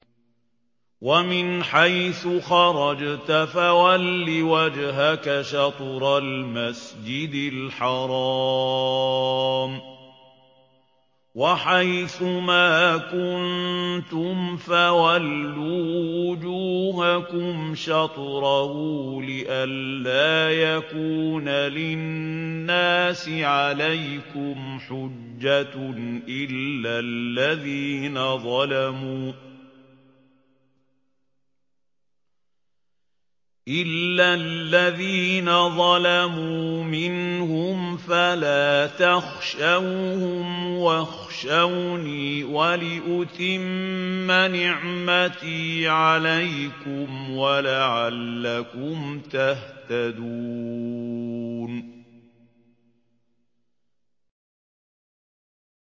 وَمِنْ حَيْثُ خَرَجْتَ فَوَلِّ وَجْهَكَ شَطْرَ الْمَسْجِدِ الْحَرَامِ ۚ وَحَيْثُ مَا كُنتُمْ فَوَلُّوا وُجُوهَكُمْ شَطْرَهُ لِئَلَّا يَكُونَ لِلنَّاسِ عَلَيْكُمْ حُجَّةٌ إِلَّا الَّذِينَ ظَلَمُوا مِنْهُمْ فَلَا تَخْشَوْهُمْ وَاخْشَوْنِي وَلِأُتِمَّ نِعْمَتِي عَلَيْكُمْ وَلَعَلَّكُمْ تَهْتَدُونَ